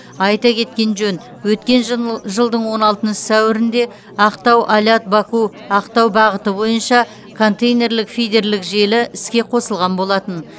айта кеткен жөн өткен жылдың он алтыншы сәуірінде ақтау алят баку ақтау бағыты бойынша контейнерлік фидерлік желі іске қосылған болатын